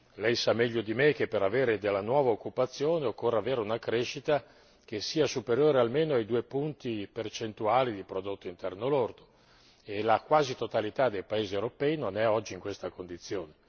Lei sa meglio di me che per avere della nuova occupazione occorre avere una crescita che sia superiore almeno ai 2 punti percentuali di prodotto interno lordo e la quasi totalità dei paesi europei non è oggi in questa condizione.